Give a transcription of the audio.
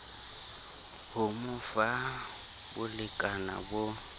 ho mo fa bolekana bo